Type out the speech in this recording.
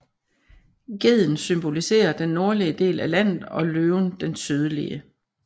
Geden symboliserer den nordlige del af landet og løven den sydlige